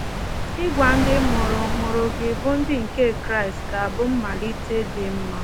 Ịgwa ndị mụrụ mụrụ gị bụ́ ndị nke Kraịst ga-abụ mmalịte dị mma.